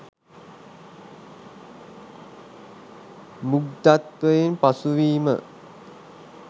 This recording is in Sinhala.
මුග්ධත්වයෙන් පසු වීම.